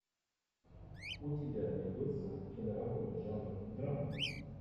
у тебя найдется киноработа жанра драма